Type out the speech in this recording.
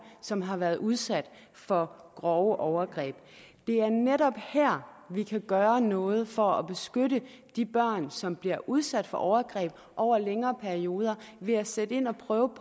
som har været udsat for grove overgreb det er netop her at vi kan gøre noget for at beskytte de børn som bliver udsat for overgreb over en længere periode ved at sætte ind og prøve